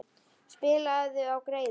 Spilaðu á greiðu.